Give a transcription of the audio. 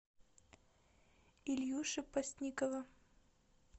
ильюши постникова